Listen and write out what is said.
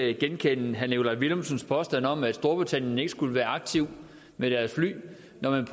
ikke genkende herre nikolaj villumsens påstand om at storbritannien ikke skulle være aktiv med deres fly når man